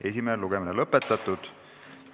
Esimene lugemine on lõpetatud.